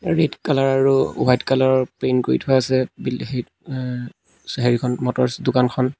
Red কালৰ আৰু white কালৰ ৰ পেইণ্ট কৰি থোৱা আছে বিল হিত অ হেৰিখন মটৰ্ছ দোকানখন।